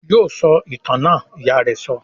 "Yóò sọ ìtàn náà!" Ìyá rẹ sọ.